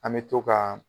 An bɛ to ka